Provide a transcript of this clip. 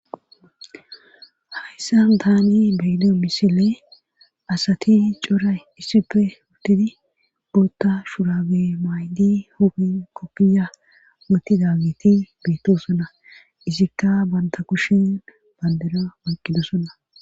Hayssa daani beydo misile asati coray issipfe uttidi bootta shurabe maydi huphi kokiya moti dagiti beettosona isikka banta kushin bandera maqidosona.